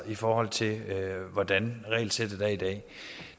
i forhold til hvordan regelsættet er i dag